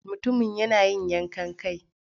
Mutumin yana yin yankan kai.